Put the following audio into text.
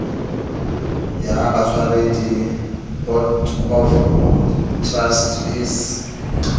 ya batshwaredi board of trustees